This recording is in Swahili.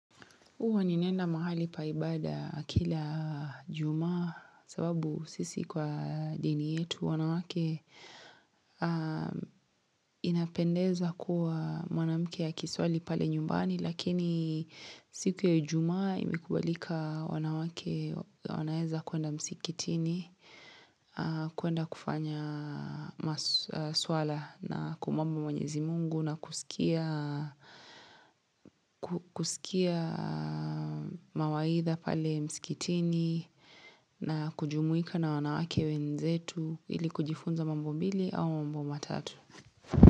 Huwa ninaenda mahali pa ibada kila juma sababu sisi kwa dini yetu wanawake inapendeza kuwa mwanamke akiswali pale nyumbani Lakini siku ya ijumaa imekubalika wanawake, wanaeza kuenda msikitini, kuenda kufanya maswala na kumwomba mwenyezi mungu na kusikia mawaidha pale msikitini na kujumuika na wanawake wenzetu ili kujifunza mambo mbili au mambo matatu.